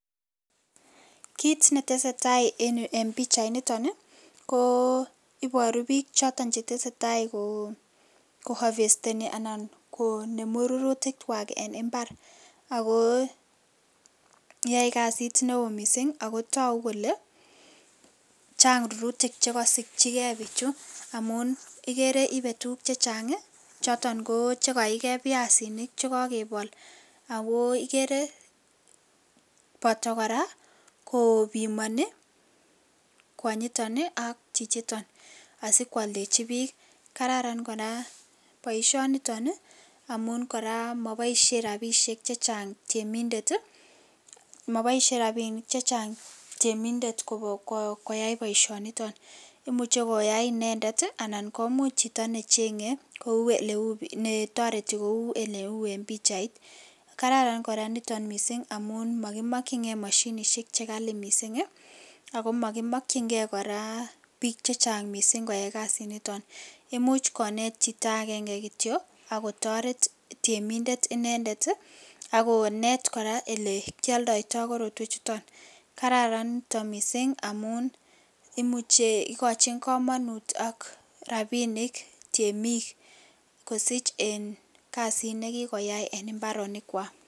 Kiit netesetaa en yuu en pichainiton ii ko iboru biik choton chetesetai ko havesteni anan konemu rurutikwak en imbar ak ko yoe kasit newo mising ak ko toku kole chang rurutik chekosikyike bichu amun ikere ibee tukuk chechang choton ko chekaike biasinik chekokebol ak ko ikere boto kora kobimoni kwonyiton ak chichiton asikwoldechi biik, kararan kora boishoniton amun kora moboishe rabishek chechang temindet, moboishen rabishek chechang temindet koyai boishoniton, imuche koyai inendet anan komuch chito necheng'e kou eletoreti kou eleu en pichait, kararan kora niton amun mokimokying'e moshinishek chekali mising ak ko mokimokying'e kora biik chechang mising koyai kasiniton, imuch konet chito akeng'e kityo AK kotoret temindet inendet ak konet kora olekioldoito tukuchuton, kararan niton mising amun imuche ikochin komonut ak rabinik temik kosich en kasit nekikoyai en imbaronikwak.